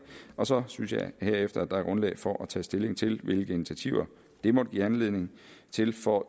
og så synes jeg at der herefter er grundlag for at tage stilling til hvilke initiativer det måtte give anledning til for